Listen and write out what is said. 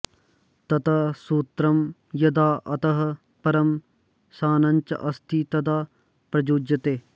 तत् सूत्रं यदा अतः परं शानच् अस्ति तदा प्रयुज्यते